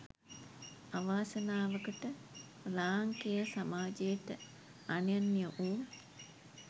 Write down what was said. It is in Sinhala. අවාසනාවකට ලාංකේය සමාජයට අනන්‍ය වූ